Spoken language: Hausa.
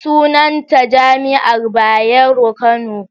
Sunanta jami'ar Bayero, Kano